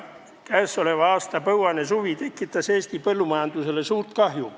Tänavune põuane suvi tekitas Eesti põllumajandusele suurt kahju.